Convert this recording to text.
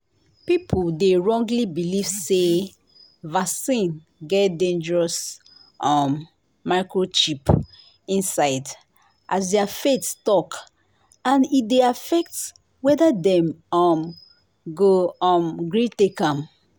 people dey wrongly believe say vaccine get dangerous um microchip inside as their faith talk and e dey affect whether dem um go um gree take am.